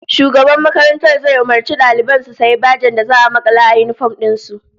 Shugaban makarantar zai umurci daliban su sayi bajen da za'a makala a yinifom din su